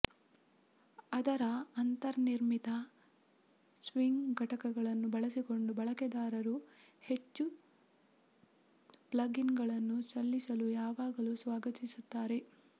ಅದರ ಅಂತರ್ನಿರ್ಮಿತ ಸ್ವಿಂಗ್ ಘಟಕಗಳನ್ನು ಬಳಸಿಕೊಂಡು ಬಳಕೆದಾರರು ಹೆಚ್ಚು ಪ್ಲಗ್ಇನ್ಗಳನ್ನು ಸಲ್ಲಿಸಲು ಯಾವಾಗಲೂ ಸ್ವಾಗತಿಸುತ್ತಾರೆ